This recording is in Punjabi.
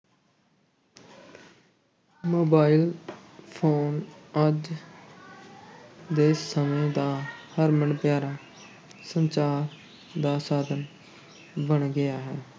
Mobile phone ਅੱਜ ਦੇ ਸਮੇ ਦਾ ਹਰਮਨ ਪਿਆਰਾ ਸੰਚਾਰ ਦਾ ਸਾਧਨ ਬਣ ਗਿਆ ਹੈ।